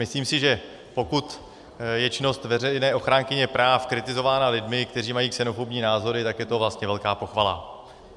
Myslím si, že pokud je činnost veřejné ochránkyně práv kritizována lidmi, kteří mají xenofobní názory, tak je to vlastně velká pochvala.